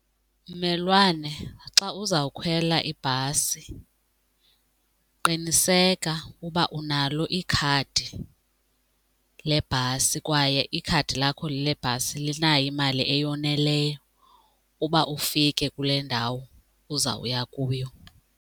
Mmelwane, xa uzawukhwela ibhasi qiniseka uba unalo ikhadi lebhasi kwaye ikhadi lakho lebhasi linayo imali eyoneleyo uba ufike kule ndawo uzawuya kuyo.